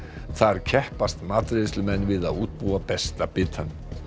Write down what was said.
þar keppast matreiðslumenn við að útbúa besta bitann